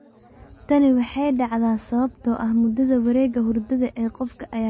Tani waxay dhacdaa sababtoo ah muddada wareegga hurdada ee qofka ayaa ka badan afar iyo labatan saacadood.